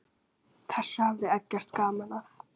Þessu hafði Eggert gaman af.